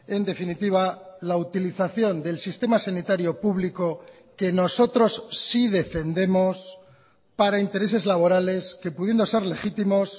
en definitiva la utilización del sistema sanitario público que nosotros sí defendemos para intereses laborales que pudiendo ser legítimos